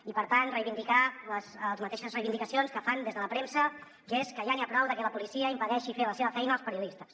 i per tant reivindicar les mateixes reivindicacions que fan des de la premsa que és que ja n’hi ha prou de que la policia impedeixi fer la seva feina als periodistes